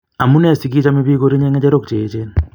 Amunee si kochomee biik korinye ngechorok cheechen.